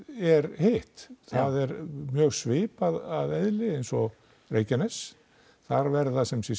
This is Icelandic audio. er hitt það er mjög svipað að eðli eins og Reykjanes þar verða sumsé